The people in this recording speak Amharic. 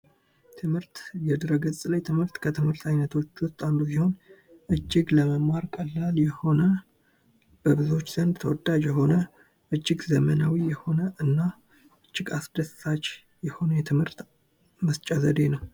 ትምህርት የድህረ ገጽ ትምህርት ከትምህርቶች ውስጥ አንዱ እጅግ ለመማር ቀላል የሆነ በብዙዎች ዘንድ ተወዳጅ የሆነ እጅግ ዘመናዊ የሆነና እጅግ አስደሳች የሆነ የትምህርት መስጫ ዘዴ ነው።